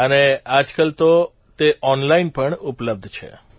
અને આજકાલ તો તે ઓનલાઇન પણ ઉપલબ્ધ છે